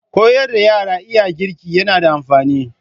Koyar da yara iya girki yana da amfani.